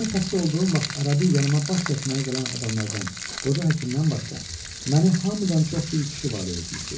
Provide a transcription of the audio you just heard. Mən xəstə olduğum vaxt arabir yanıa baş çəkməyə gələn adamlardan, qoca həkimdən başqa məni hamıdan çox bir kişi valide etmişdi.